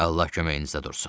Allah köməyinizə dursun.